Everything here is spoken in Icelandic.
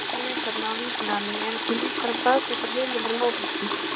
Frekara lesefni á Vísindavefnum Eru til einhverjar staðfestar heimildir um ófreskjur?